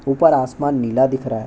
ऊपर आसमान नीला दिख रहा है।